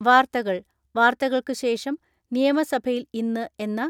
വാർത്തകൾ വാർത്തകൾക്കു ശേഷം നിയമസഭയിൽ ഇന്ന് എന്ന